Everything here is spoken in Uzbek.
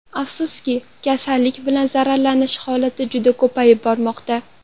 Afsuski, kasallik bilan zararlanish holati juda ko‘payib bormoqda.